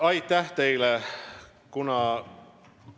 Aitäh teile!